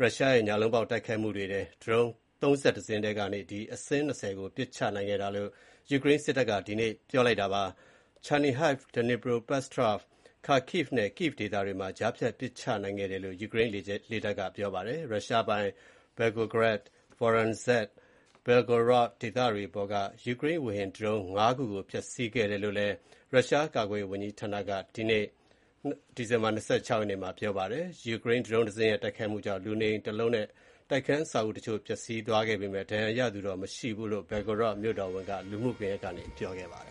ရုရှားရဲ့ ညလုံးပေါက်တိုက်ခိုက်မှုတွေအတွင်း ဒရုန်း ၃၁ စင်းထဲက အစင်း ၂၀ ကို ပစ်ချနိုင်ခဲ့ကြောင်း ယူကရိန်းစစ်တပ်က ဒီနေ့ ကြာသပတေးနေ့မှာ ပြောပါတယ်။ Chernihiv, Dnipropetrovsk, Kharkiv နဲ့ Kyiv ဒေသတွေမှာ ကြားဖြတ်ပစ်ချနိုင်ခဲ့တာဖြစ်ကြောင်း ယူကရိန်းလေကြောင်းတပ်က ပြောပါတယ်။ ရုရှားပိုင် Volgograd, Voronezh နဲ့ Belgorod ဒေသတွေပေါ်က ယူကရိန်းဝေဟင်ဒရုန်း ၅ ခုကို ဖျက်ဆီးခဲ့ကြောင်း ရုရှားကာကွယ်ရေးဝန်ကြီးဌာနကလည်း ဒီနေ့ ဒီဇင်ဘာ ၂၆ ရက်နေ့မှာ ပြောပါတယ်။ ယူကရိန်းဒရုန်းတစင်းရဲ့ တိုက်ခိုက်မှုကြောင့် လူနေအိမ်တလုံးနဲ့ တိုက်ခန်းအဆောက်အဦးတချို့ ပျက်စီးသွားခဲ့ပေမယ့် ထိခိုက်ဒဏ်ရာရသူတော့ မရှိကြောင်း Belgorod မြို့ဝန် Vyacheslav Gladkov က Telegram လူမှုကွန်ယက်ကနေတဆင့် ပြောပါတယ